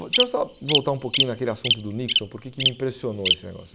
Deixa eu só voltar um pouquinho naquele assunto do Nixon, porque que me impressionou esse negócio.